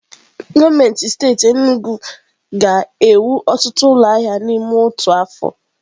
Gọọmenti steeti Enugwu ga-ewu ọtụtụ ụlọ ahịa n'ime otu afọ.